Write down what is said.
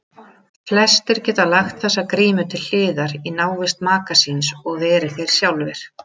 Flestir geta lagt þessa grímu til hliðar í návist maka síns og verið þeir sjálfir.